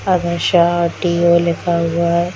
आधा ष और टी.ओ. लिखा हुआ है